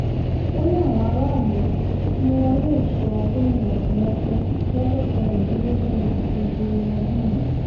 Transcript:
ó ní àwọn aráàlú ni wọn yóò sọ gómìnà tí wọ́n fẹ́ lọ́jọ́ kẹrìndínlógún oṣù keje ọdún yìí